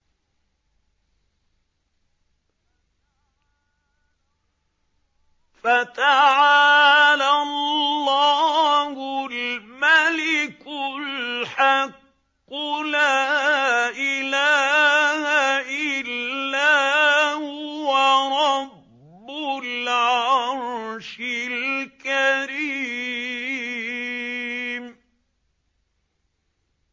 فَتَعَالَى اللَّهُ الْمَلِكُ الْحَقُّ ۖ لَا إِلَٰهَ إِلَّا هُوَ رَبُّ الْعَرْشِ الْكَرِيمِ